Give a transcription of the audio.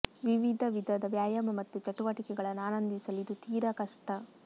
ವಿವಿಧ ವಿಧದ ವ್ಯಾಯಾಮ ಮತ್ತು ಚಟುವಟಿಕೆಗಳನ್ನು ಆನಂದಿಸಲು ಇದು ತೀರಾ ಕಷ್ಟ